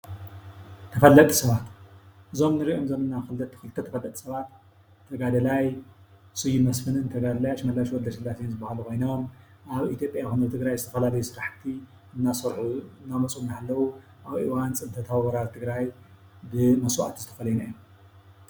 ተፈለጥቲ ሰባት-እዞም ንሪኦም ዘለና ኽልተ ተፈለጥቲ ሰባት ተጋዳላይ ስዩም መስፍንን ተጋዳላይ ኣስመላሽ ወለስላሰን ዝበሃሉ ኮይኖም ኣብ ኢትዮጵያ ኾነ ኣብ ትግራይ ዝተፈላለየ ስራሕቲ እናሰርሑ እናመፁ እናሃለዉ ኣብ እዋን ፅንተታዊ ወራር ትግራይ ብመስዋእቲ ዝተፈለዩና እዮም፡፡